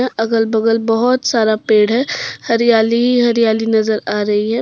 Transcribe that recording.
अगल बगल बहोत सारा पेड़ है हरियाली ही हरियाली नजर आ रही है।